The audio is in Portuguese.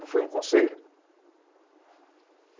Não foi um conselho?